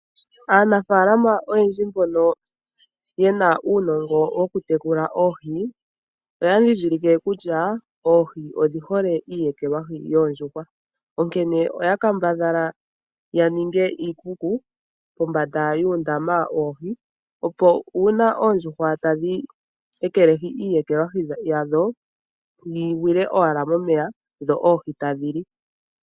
Aanafaalama oyendji mbono ye na uunongo woku tekula oohi oya ndhindhilike kutya odhi hole iiyekelwahi yoondjuhwa, onkene oya kambadhala ya ninge iikuku kombanda yoondama dhoohi opo ngele oondjuhwa tadhi ekelehi iiyekelwahi yadho yi gwile owala momeya dho oohi tadhi li.